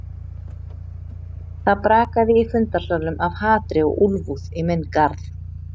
Það brakaði í fundarsalnum af hatri og úlfúð í minn garð.